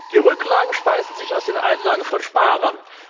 Die Rücklagen speisen sich aus den Einlagen von Sparern.